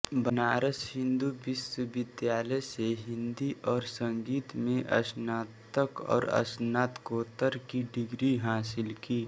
बनारस हिंदू विश्वविद्यालय से हिंदी और संगीत में स्नातक और स्नातकोत्तर की डिग्री हासिल की